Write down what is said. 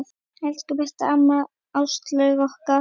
Elsku besta amma Áslaug okkar.